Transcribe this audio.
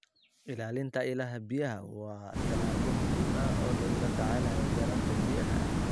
Ilaalinta ilaha biyaha waa tallaabo muhiim ah oo lagula tacaalayo yaraanta biyaha.